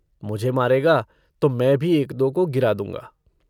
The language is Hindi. मुझे मारेगा तो मैं भी एक-दो को गिरा दूँगा।